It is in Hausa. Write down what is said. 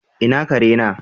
Ina kare na?